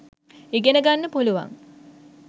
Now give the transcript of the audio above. ඉගෙන ගන්න පුළුවන්.